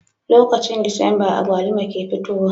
Lokacin disamba agwaluma ke fitowa